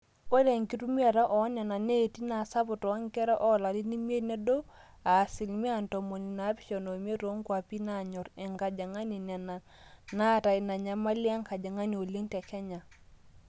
ore enkitumiata oonena neeti naa sapuk toonkera oolarin imiet nedou aa asilimia ntomoni naapishana oimiet toonkuapi naanyor enkajang'ani nena naata ina nyamali enkajang'ani oleng te kenya